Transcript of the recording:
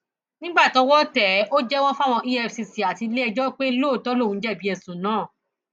nígbà tọwọ tẹ ẹ ó jẹwọ fáwọn efcc àti iléẹjọ pé lóòótọ lòún jẹbi ẹsùn náà